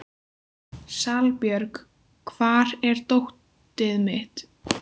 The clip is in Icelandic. Salbjörg, hvar er dótið mitt?